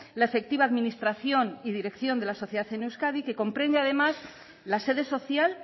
la efectiva administración y dirección de la sociedad en euskadi que comprende además la sede social